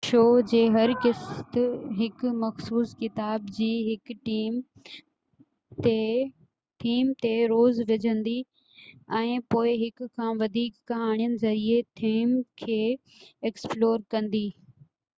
show جي هر قسط هڪ مخصوص ڪتاب جي هڪ ٿيم تي زور وجهندي ۽ پوءِ هڪ کان وڌيڪ ڪهاڻين ذريعي ٿيم کي ايڪسپلور ڪندي